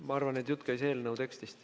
Ma arvan, et jutt käis eelnõu tekstist.